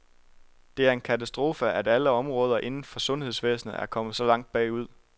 Det er en katastrofe, at alle områder inden for sundhedsvæsenet er kommet så langt bagud.